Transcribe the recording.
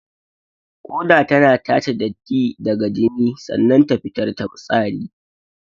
Ƙoda tana tace datti daga jini sannan ta fitar da fitsari.